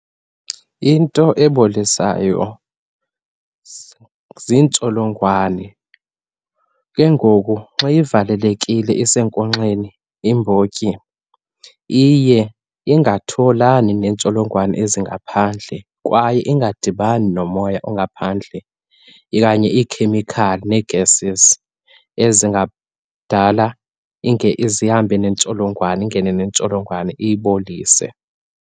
Into ebolisayo ziintsholongwane. Ke ngoku xa ivalekile isenkonkxeni imbotyi iye ingatholani neentsholongwane ezingaphandle, kwaye ingadibani nomoya ongaphandle okanye iikhemikhali nee-gases ezingadala zihambe neentsholongwane, ingene neentsholongwane iyibolise.